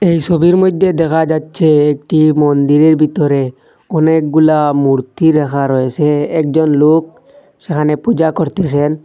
এই ছবির মইধ্যে দেখা যাচ্ছে একটি মন্দিরের ভিতরে অনেকগুলা মূর্তি রাখা রয়েসে একজন লোক সেখানে পূজা করতিসেন।